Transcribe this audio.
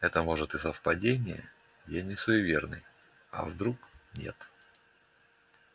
это может и совпадения я не суеверный а вдруг нет